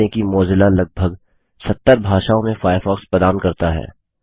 ध्यान दें कि मोज़िला लगभग 70 भाषाओं में फ़ायरफ़ॉक्स प्रदान करता है